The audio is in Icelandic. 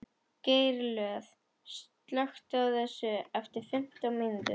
Geirlöð, slökktu á þessu eftir fimmtán mínútur.